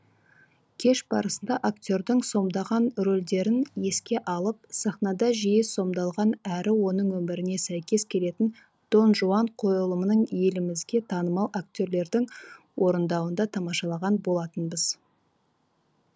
кеш барысында актердің сомдаған рөлдерін еске алып сахнада жиі сомдалған әрі оның өміріне сәйкес келетін донжуан қойылымын елімізге танымал актерлердің орындауында тамашалаған болатынбыз